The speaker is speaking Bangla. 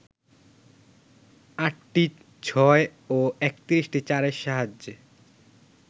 আটটি ছয় ও ৩১টি চারের সাহায্যে